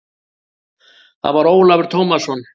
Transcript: Það var Ólafur Tómasson.